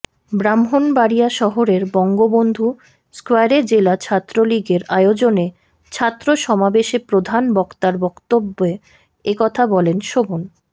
ব্রাহ্মণবাড়িয়া শহরের বঙ্গবন্ধু স্কয়ারে জেলা ছাত্রলীগের আয়োজনে ছাত্র সমাবেশে প্রধান বক্তার বক্তব্যে একথা বলেন শোভন